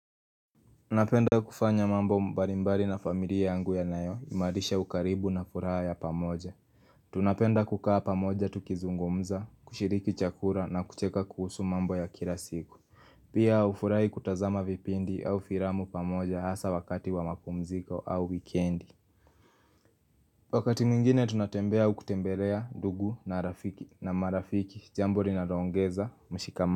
Napenda kufanya mambo mbalimbari na familia yangu ya nayo imarisha ukaribu na furaha ya pamoja Tunapenda kukaa pamoja tukizungumza, kushiriki chakula na kucheka kuhusu mambo ya kilasiku Pia hufurahi kutazama vipindi au filamu pamoja hasa wakati wa mapumziko au weekendi Wakati mwingine tunatembea aukutembelea ndugu na rafiki na marafiki, jamboli na loongeza, mshikama.